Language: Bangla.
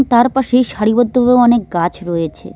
তার পাশেই সারিবদ্ধভাবে অনেক গাছ রয়েছে।